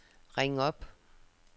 ring op